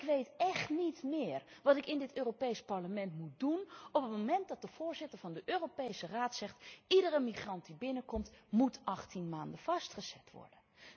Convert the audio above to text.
Maar ik weet echt niet meer wat ik in dit Europees Parlement moet doen op een moment dat de voorzitter van de Europese Raad zegt iedere migrant die binnenkomt, moet 18 maanden vastgezet worden.